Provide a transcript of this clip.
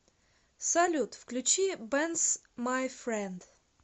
салют включи бэнс май фрэнд